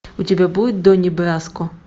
у тебя будет донни браско